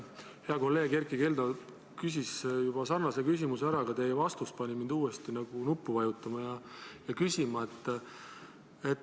Hea kolleeg Erkki Keldo küsis juba sarnase küsimuse ära, aga teie vastus pani mind uuesti nuppu vajutama ja küsima.